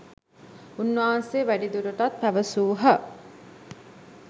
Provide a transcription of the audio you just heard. උන්වහන්සේ වැඩිදුරටත් පැවසූහ